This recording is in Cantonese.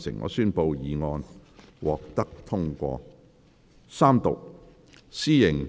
我宣布議案獲得通過。